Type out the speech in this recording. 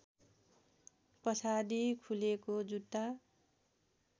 पछाडि खुलेको जुत्ता